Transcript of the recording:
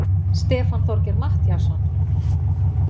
Stefán Þorgeir Matthíasson!